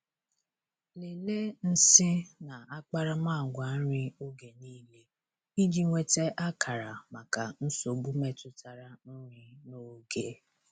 Lelee nsị na akparamagwa nri oge niile iji nweta akara maka nsogbu metụtara nri n'oge.